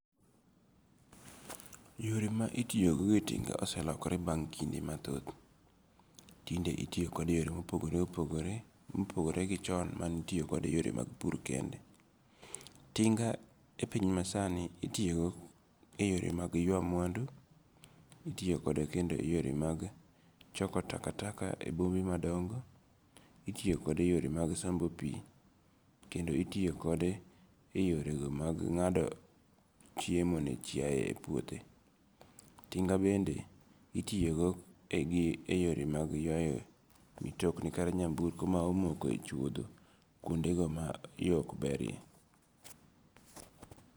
Yore ma itiyogo gi tinga oselokore bang' kinde ma thoth, tinde itiyokode e yore ma opogore opogore, mopogore gi chon mane itiyokode e yore mag pur kende, tinga e piny masani itiyo kode e yore mag ywa mwandu, itiyokode kendo e yore mag choko takataka, itiyokode e yorego mag sombo pi kendo itiyo kode e yorego mag nga'do chiemo ne chiaye e puothe, tinga bende itiyogo e yore mag ywayo mitokni kata nyamburko ma omoko e chuotho kuondego ma yo okberie.